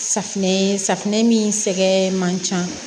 Safinɛ safinɛ min sɛgɛn man ca